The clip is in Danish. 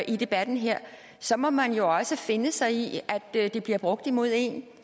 i debatten her så må man jo også finde sig i at det bliver brugt imod en